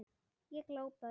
Ég glápi á þau.